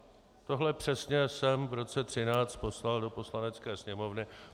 Tohle přesně jsem v roce 2013 poslal do Poslanecké sněmovny.